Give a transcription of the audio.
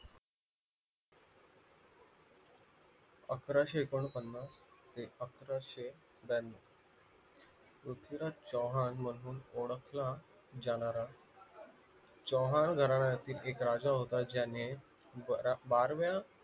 अकाराशे एकोणपन्नास ते अकाराशे ब्यानव पृथ्वीराज चव्हाण मधून ओळखला जाणारा चव्हाण घरण्यातील एक राजा होता ज्याने बाराव्या